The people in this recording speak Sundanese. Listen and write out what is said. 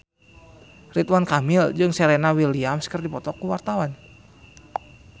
Ridwan Kamil jeung Serena Williams keur dipoto ku wartawan